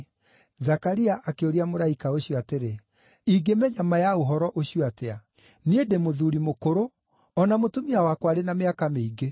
Zakaria akĩũria mũraika ũcio atĩrĩ, “Ingĩmenya ma ya ũhoro ũcio atĩa? Niĩ ndĩ mũthuuri mũkũrũ o na mũtumia wakwa arĩ na mĩaka mĩingĩ.”